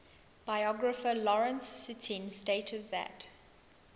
biographer lawrence sutin stated that